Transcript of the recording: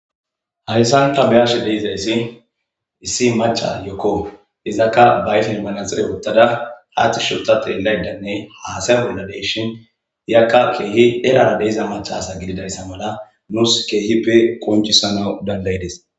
hayssan ta ba'ash deiza issi issi maca ayokko izakka ba ayfen manaxire wottada aatti sholtate laydanne haasay olladeyshin yakka keehi erara deeza machasa gididayssa mala nuus keehippe qoncisanaw dandayides